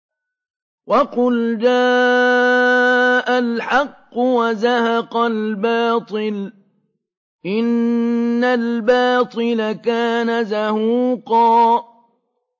وَقُلْ جَاءَ الْحَقُّ وَزَهَقَ الْبَاطِلُ ۚ إِنَّ الْبَاطِلَ كَانَ زَهُوقًا